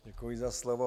Děkuji za slovo.